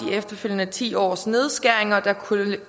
efterfølgende ti års nedskæringer der